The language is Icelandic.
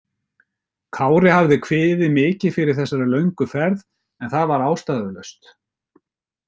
Kári hafði kviðið mikið fyrir þessari löngu ferð en það var ástæðulaust.